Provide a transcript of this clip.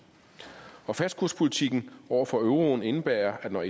og fastkurspolitikken over for euroen indebærer at når